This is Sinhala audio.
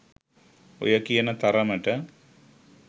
ඔය කියන තරමට